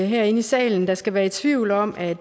her i salen der skal være i tvivl om at